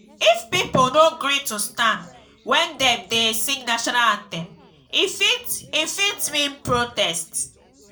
if pipo no gree to stand when dem dey sing national anthem e fit e fit mean protest.